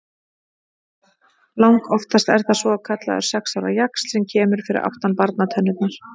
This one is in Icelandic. Langoftast er það svokallaður sex ára jaxl sem kemur fyrir aftan barnatennurnar.